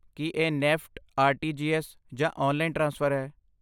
ਕੀ ਇਹ NEFT, RTGS., ਜਾਂ online transfer ਹੈ?